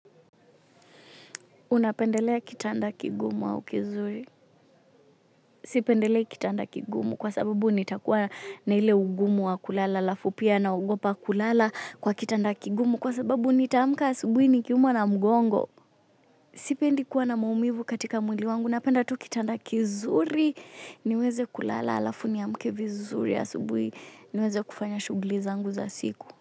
Unapendelea kitanda kigumu au kizuri. Sipendelei kitanda kigumu kwa sababu nitakuwa na ile ugumu wa kulala halafu pia naogopa kulala kwa kitanda kigumu kwa sababu nitaamka asubuhi nikiumwa na mgongo. Sipendi kuwa na maumivu katika mwili wangu. Napenda tu kitanda kizuri niweze kulala halafu niamke vizuri asubuhi niweze kufanya shughuli zangu za siku.